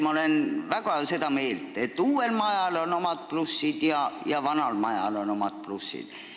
Ma olen väga seda meelt, et uuel majal on omad plussid ja vanal majal on omad plussid.